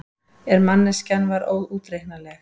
En manneskjan var óútreiknanleg.